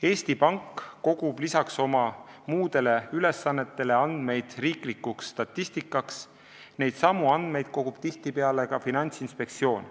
Eesti Pank kogub lisaks oma muudele ülesannetele andmeid riikliku statistika tarbeks, neidsamu andmeid kogub tihtipeale ka Finantsinspektsioon.